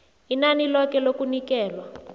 inani loke lokunikelwa